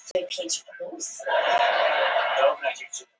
Matarkarfan á að lækka